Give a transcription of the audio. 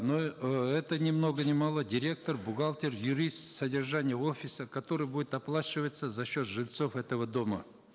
но э это ни много ни мало директор бухгалтер юрист содержание офиса который будет оплачиваться за счет жильцов этого дома